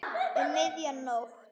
Um miðja nótt.